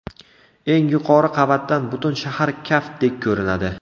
Eng yuqori qavatdan butun shahar kaftdek ko‘rinadi.